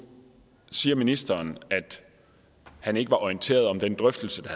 siger ministeren at han ikke var orienteret om den drøftelse der